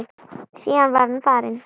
Síðan var hann farinn.